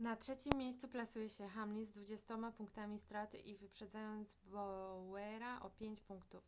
na trzecim miejscu plasuje się hamlin z dwudziestoma punktami straty i wyprzedzając bowyera o pięć punktów.